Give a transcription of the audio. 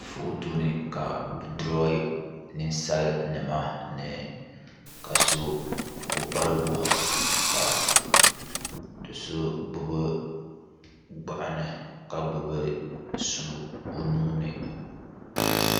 foto ni ka bɛ duroyi ninsalinima ka so o bari wahu do' so gbubi gbuɣinli ka gbubi sua o nuu ni.